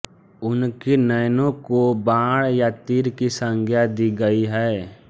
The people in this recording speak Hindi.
उनके नयनों को बाण या तीर की संज्ञा दी गई है